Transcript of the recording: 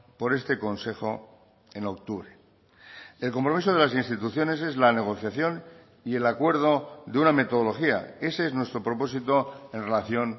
por este consejo en octubre el compromiso de las instituciones es la negociación y el acuerdo de una metodología ese es nuestro propósito en relación